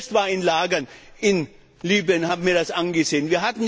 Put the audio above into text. Ich selbst war in Lagern in Libyen und habe mir das angesehen.